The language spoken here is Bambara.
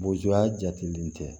Boya jatelen tɛ